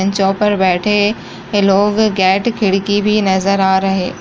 बेंचों पर बैठे लोग गेट खिड़की भी नजर आ रहे --